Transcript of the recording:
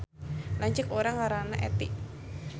Lanceuk urang ngaranna Etty